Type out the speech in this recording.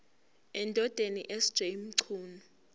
endodeni sj mchunu